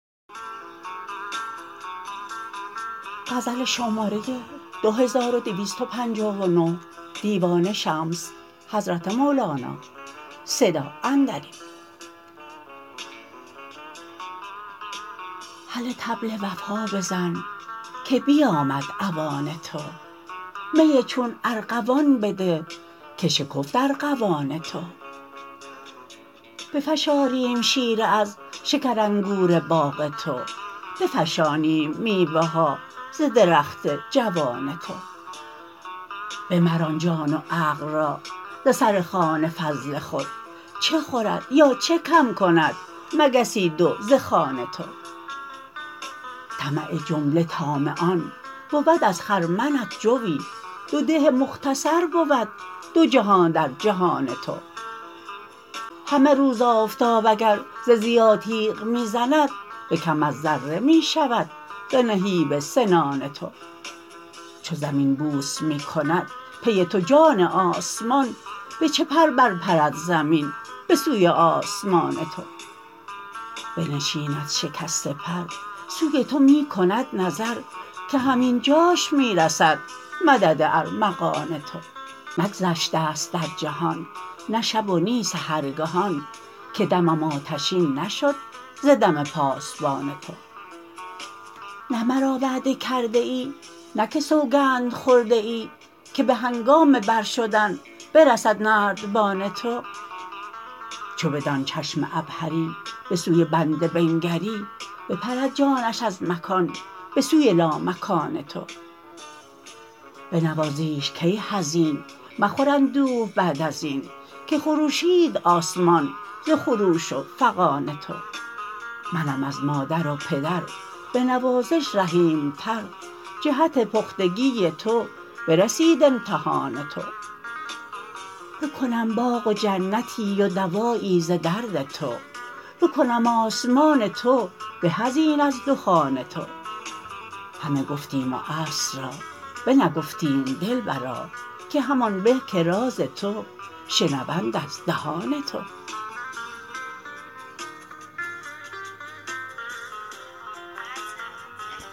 هله طبل وفا بزن که بیامد اوان تو می چون ارغوان بده که شکفت ارغوان تو بفشاریم شیره از شکرانگور باغ تو بفشانیم میوه ها ز درخت جوان تو بمران جان و عقل را ز سر خوان فضل خود چه خورد یا چه کم کند مگسی دو ز خوان تو طمع جمله طامعان بود از خرمنت جوی دو ده مختصر بود دو جهان در جهان تو همه روز آفتاب اگر ز ضیا تیغ می زند به کم از ذره می شود ز نهیب سنان تو چو زمین بوس می کند پی تو جان آسمان به چه پر برپرد زمین به سوی آسمان تو بنشیند شکسته پر سوی تو می کند نظر که همین جاش می رسد مدد ارمغان تو نه گذشته ست در جهان نه شب و نی سحرگهان که دمم آتشین نشد ز دم پاسبان تو نه مرا وعده کرده ای نه که سوگند خورده ای که به هنگام برشدن برسد نردبان تو چو بدان چشم عبهری به سوی بنده بنگری بپرد جانش از مکان به سوی لامکان تو بنوازیش کای حزین مخور اندوه بعد از این که خروشید آسمان ز خروش و فغان تو منم از مادر و پدر به نوازش رحیمتر جهت پختگی تو برسید امتحان تو بکنم باغ و جنتی و دوایی ز درد تو بکنم آسمان تو به از این از دخان تو همه گفتیم و اصل را بنگفتیم دلبرا که همان به که راز تو شنوند از دهان تو